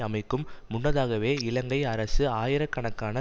அமைக்கும் முன்னதாகவே இலங்கை அரசு ஆயிரக்கணக்கான